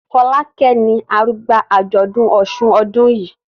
Folake ní arugba ajọdun òsùn ọdún yí.